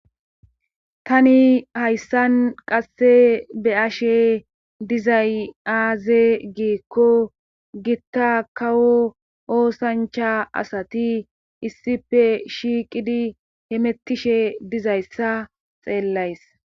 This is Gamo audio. tani hayssan qasse be ashe dizay aaze giikko gitta kawo oosancha asati issife shiiqidi hemettishe dizayssa xeellays